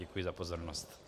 Děkuji za pozornost.